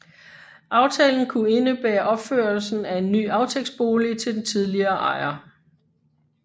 Aftalen kunne indebære opførelsen af en ny aftægtsbolig til den tidligere ejer